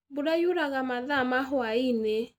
Mbura yuraga mathaa ma hwainĩ.